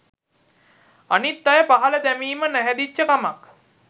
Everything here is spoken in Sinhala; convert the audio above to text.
අනිත් අය පහල දැමීම නැහැදිච්ච කමක්.